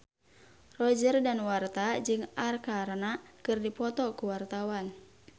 Roger Danuarta jeung Arkarna keur dipoto ku wartawan